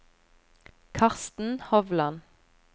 Karsten Hovland